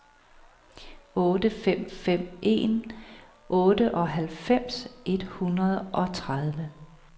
otte fem fem en otteoghalvfems et hundrede og tredive